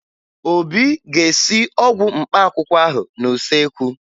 Obi ga-esi ọgwụ mkpaakwụkwọ ahụ n'useekwu